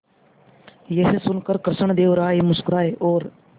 यह सुनकर कृष्णदेव राय मुस्कुराए और